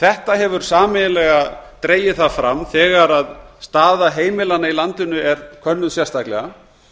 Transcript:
þetta hefur sameiginlega dregið það fram þegar staða heimilanna í landinu er könnuð sérstaklega